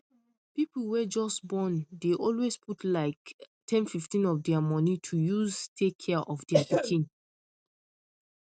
people wey just born dey always put like 1015 of dia money to use take care of dai pikin